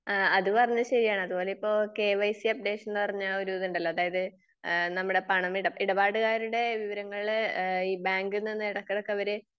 ഏഹ് അത് പറഞ്ഞത് ശെരിയാണ്. അതുപോലെ ഇപ്പൊ കെ വൈ സി അപ്‌ഡേഷൻ എന്ന് പറഞ്ഞ ഒരു ഇതുണ്ടല്ലോ. അതായത് ഇഹ് നമ്മുടെ പണമിടപാടുകാരുടെ വിവരങ്ങൾ ഈഹ് ബാങ്കിൽ നിന്ന് എടക്കെടക്ക് അവര്